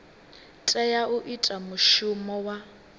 tea u ita mushumo wa